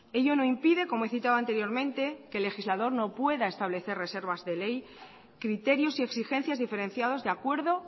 ello no impide como he citado anteriormente que el legislador no pueda establecer reservas de ley criterios y exigencias diferenciados de acuerdo